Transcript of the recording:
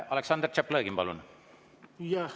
Aleksandr Tšaplõgin, palun!